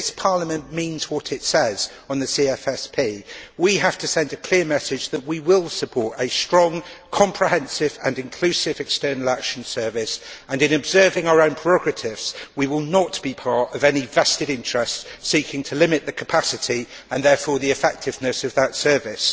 If Parliament means what it says on the CFSP, we have to send a clear message that we will support a strong, comprehensive and inclusive External Action Service and, in observing our own prerogatives, we will not be part of any vested interests seeking to limit the capacity, and therefore the effectiveness, of that service.